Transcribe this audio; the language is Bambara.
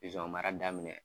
Pizɔn mara daminɛ.